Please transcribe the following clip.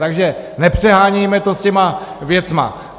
Takže nepřehánějme to s těma věcma.